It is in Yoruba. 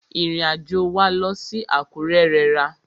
Ìrìn àjò wa lọ sí Àkúrẹ́ rẹra.